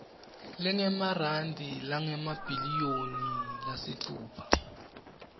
lengemarandi langemabhiliyoni lasitfupha